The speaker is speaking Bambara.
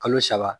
Kalo saba